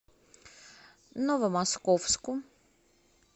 новомосковску